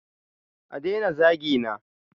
A daina zagina!